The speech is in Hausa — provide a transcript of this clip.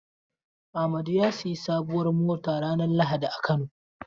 Amadu ya sayi sabuwar mota ranar lahadi a Kano.